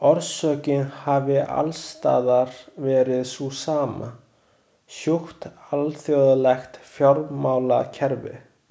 Orsökin hafi alls staðar verið sú sama, sjúkt alþjóðlegt fjármálakerfi.